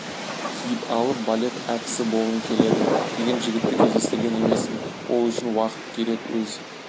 киіп алып балет әртісі болғым келеді деген жігітті кездестірген емеспін ол үшін уақыт керек өз